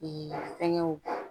fɛnkɛw